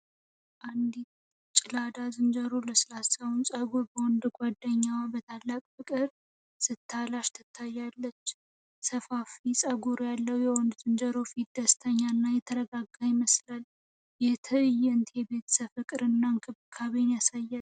አንዲት ጌላዳ ዝንጀሮ ለስላሳው ፀጉር በወንድ ጓደኛዋ በታላቅ ፍቅር ስትላሽ ትታያለች። ሰፋፊ ፀጉር ያለው የወንዱ ዝንጀሮ ፊት ደስተኛ እና የተረጋጋ ይመስላል። ይህ ትዕይንት የቤተሰብ ፍቅርንና እንክብካቤን ያሳያል